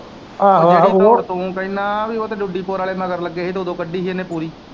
ਆਹੋ ਆਹੋ ਉਹ ਤੂੰ ਕਹਿਣਾ ਬਈ ਉਹ ਤੇ ਵਾਲੇ ਮਗਰ ਲੱਗੇ ਹੀ ਤੇ ਓਦੋਂ ਕੱਢੀ ਹੀ ਇਹਨੇ ਪੂਰੀ।